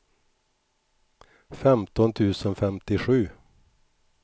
femton tusen femtiosju